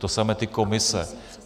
To samé ty komise.